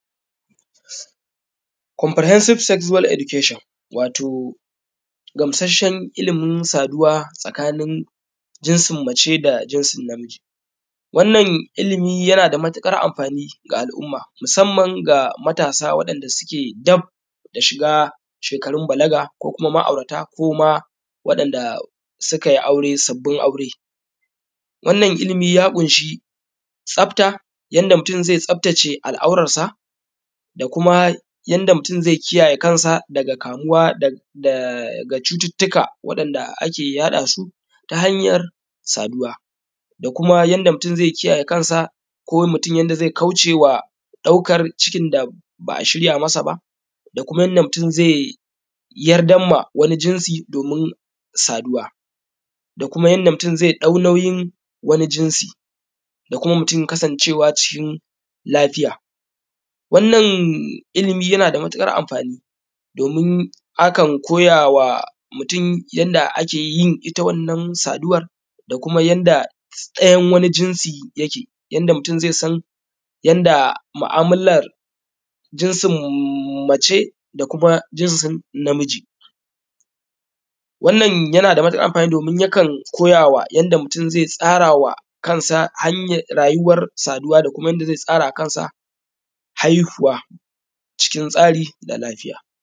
Komfure hensib sejuwal idukashin, wato gamsashen ilimin saduwa tsakanin jinsin mace da jinsin namiji, wannan ilimi yana da matuƙar amfani ga al’umma musamman ga matasa waɗanda suke dab da shiga shekarun balaga ko kuma ma’aurata koma wanda sukai aure sabbun aure, wannan ilimi ya kun shi tsabta, yanda mutum zai tsabtace al’auransa da kuma yanda mutum zai kiyayye kamuwa daga cututuka waɗanda ake yaɗa su ta hanyar saduwa da kuma yanda mutum zai kiyayye kansa kansa ko mutum yanda zai kaucewa daukan cikin da ba’a shirya masa ba da kuma yanda mutum zai yardama wani jinsi domin saduwa, da kuma yanda mutum zai dau wani nauyin wani jinsi da kuma mutum kasancewa cikin lafiya. Wannan ilimi yana da matuƙar amfani domin akan koyawa mutum yanda ake yin wannan ita saduwar da kuma yanda dayan jinsin yake, yanda mutum zai san yanda ma’alaman jinsin mace da kuma jinsin namiji. wannan yana da matuƙar amfani domin yakan koyama mutum yanda mutum zai tsarawa kansa hanya rayuwa saduwa da kuma yanda zai tsarawa haihuwa cıkın tsari da lafiya.